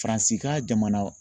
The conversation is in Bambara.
Faransi ka jamana